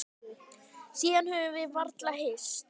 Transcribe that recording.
Síðan höfum við varla hist.